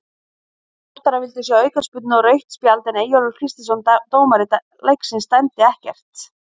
Þróttarar vildu sjá aukaspyrnu og rautt spjald en Eyjólfur Kristinsson dómari leiksins dæmdi ekkert.